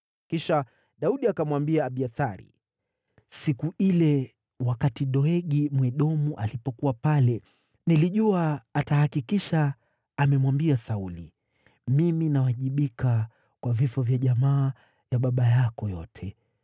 Kisha Daudi akamwambia Abiathari: “Siku ile, wakati Doegi Mwedomu alipokuwa pale, nilijua atahakikisha amemwambia Sauli. Mimi ninawajibika kwa vifo vya jamaa ya baba yako yote.